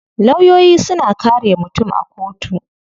Lawyoyi suna kare mutum a kotu.